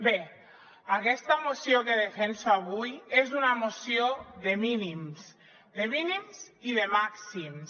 bé aquesta moció que defenso avui és una moció de mínims de mínims i de màxims